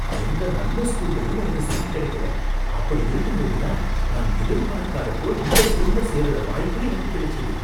எந்த நல்ல ஸ்கூல்லையும் எனக்கு சீட் கிடைக்கல, அப்படி இருக்கும்போது தான் நான் எதிர்பாக்காதப்போ இந்த ஸ்கூல்ல சேருற வாய்ப்பு எனக்கு கிடைச்சுது